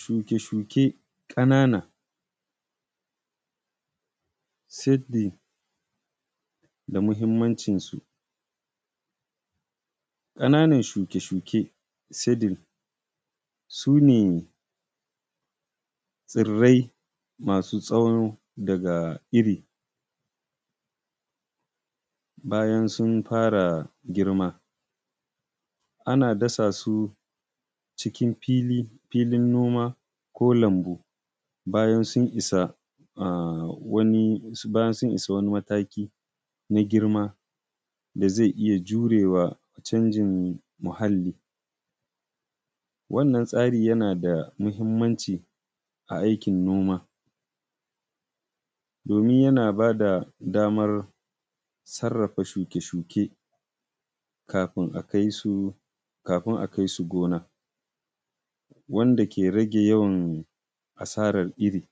Shuke shuke ƙanana seedling da mahimmancin su. ƙananan shuke shuke seedling sune tsirrai masu tsawo daga iri bayan sun fara girma. Ana dasa su cikin filin noma, ko lambu bayan sun isa wani mataki na girma da zai iya jurewa canjin muhalli. Wannan tsari yana da muhimmanci a aikin noma, domin yana ba da damar sarrafa shuke shuke kafin a kaisu gona, wanda ke rage yawan asaran iri.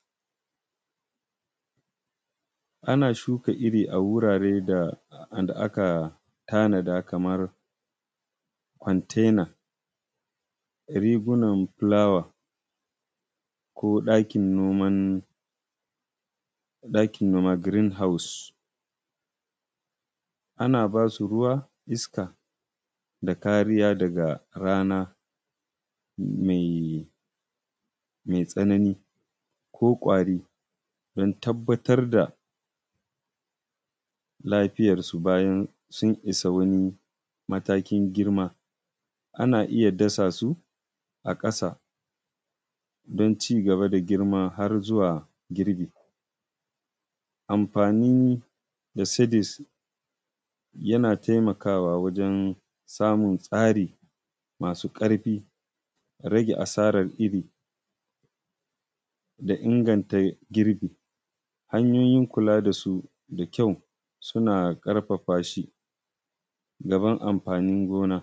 Ana shuka iri a wuraren da aka tanada kamar container, rigunan fulawa, ko ɗakin noman green house. Ana basu ruwa, iska, da kariya daga rana mai tsanani ko ƙwari don tabbatar da lafiyar su bayan sun isa wani matakin girma, ana iya dasa su a ƙasa don cigaba da girma har zuwa girbi. Amfani da seedling yana taimaka wa wajan samun tsari masu ƙarfi, rage asaran iri, da inganta girbi. Hanyoyin kula dasu da kyau suna ƙarfafa shi gaban amfanin gona.